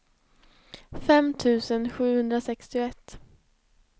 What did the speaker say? fem tusen sjuhundrasextioett